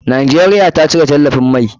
Najeriya ta cire talafin mai.